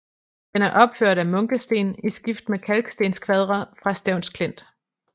Den er opført af munkesten i skift med kalkstenskvadre fra Stevns Klint